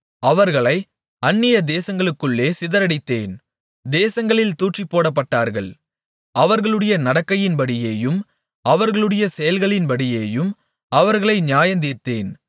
அவர்களை அந்நியதேசங்களுக்குள்ளே சிதறடித்தேன் தேசங்களில் தூற்றிப்போடப்பட்டார்கள் அவர்களுடைய நடக்கையின்படியேயும் அவர்களுடைய செயல்களின்படியேயும் அவர்களை நியாயந்தீர்த்தேன்